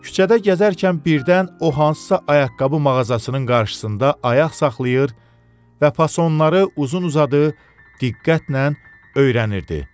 Küçədə gəzərkən birdən o hansısa ayaqqabı mağazasının qarşısında ayaq saxlayır və fasonları uzun-uzadı diqqətlə öyrənirdi.